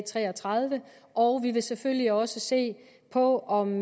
tre og tredive a og vi vil selvfølgelig også se på om